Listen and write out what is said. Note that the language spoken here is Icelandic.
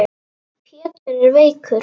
Pétur er veikur.